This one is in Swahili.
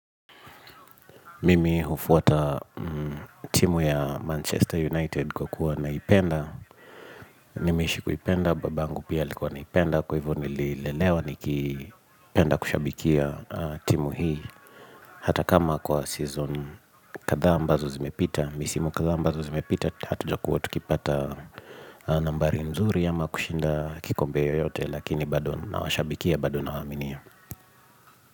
Mimi hufuata timu ya Manchester United kwa kuwa naipenda. Nimeishi kuipenda, babangu pia alikuwa anaipenda. Kwa hivyo nilelewa ni kipenda kushabikia timu hii. Hata kama kwa season katha ambazo zimepita. Misimu katha ambazo zimepita, hatuja kuwa tukipata nambari mzuri ama kushinda kikombeo yote. Lakini bado na washabikia bado nawaaminia.